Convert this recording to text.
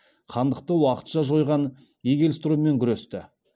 хандықты уақытша жойған игельстроммен күресті